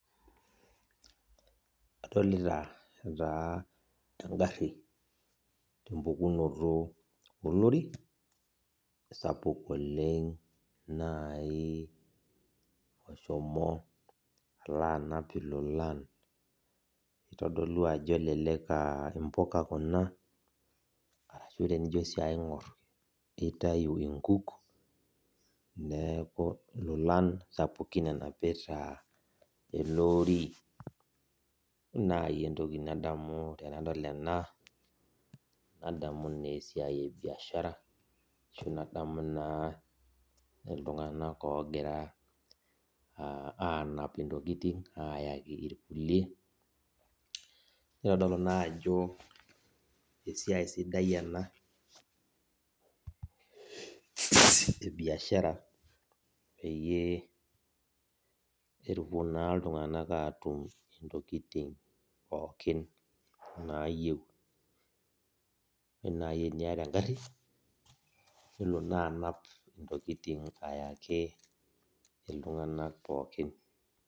Adolita taa engari tempukunoto olori sapuk oleng nai oshomo anap ilolan kitodolu ajo elelek aa mpuka kuna arashu tenijo si aingur na kitau nkuk neaku lolan sapukin enapita eleori nai entoki nadamu tanadol ena nadamu na esiai ebiashara ashu na nadamu na ltunganak ogira anap ntokitin ayaki irkulie nitodolu na ajo esiai sida ena ebiashara peyie epuo na ltunganak atum ntokitin pookin nayieu, nai teniata engari nelo na anap ntokitin ayaki ltunganak pookin.